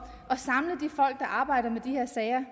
at arbejder med de her sager